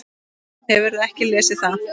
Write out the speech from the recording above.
Hefurðu ekki lesið það!